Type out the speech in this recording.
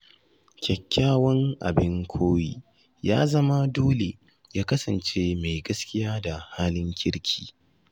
Kyakkyawan abin koyi ya zama dole ya kasance mai gaskiya da halin kirki.